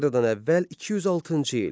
Eradan əvvəl 206-cı il.